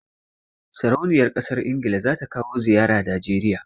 Sarauniyar ƙasar Ingila za ta kawo ziyara Najeriya.